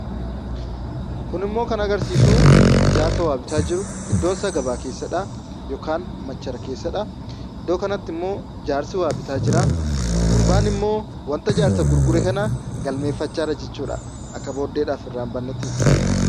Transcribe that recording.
Kunimmoo kan agarsiisuu jaarsa waa bitaa jiru, iddoonsaa gabaa keessadha yookaan machara keessadha. Iddoo kanattimmoo jaarsi waa bitaa jiraa, gurbaan immoo wanta jaarsatti gurgure kana galmeeffachaa jira jechuudha; akka booddeef irraa hin bannetti jechuudha.